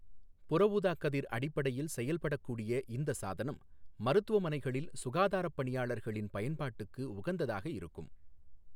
புறஊதா கதிர் அடிப்படையில் செயல்படக் கூடிய இந்த சாதனம், மருத்துவமனைகளில் சுகாதாரப் பணியாளர்களின் பயன்பாட்டுக்கு உகந்ததாக இருக்கும்.